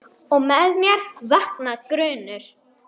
Og með mér vaknar grunur.